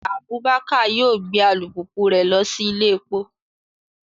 Abubakar yoo gbe alupupu rẹ lọ si ile epo